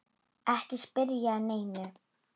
Ekki spyrja að neinu!